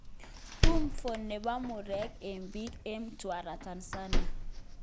Tumfo nepo murek eng piik eng Mtwara Tanzania